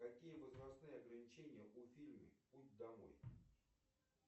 какие возрастные ограничения у фильма путь домой